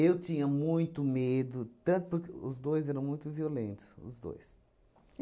Eu tinha muito medo, tanto porque os dois eram muito violentos, os dois.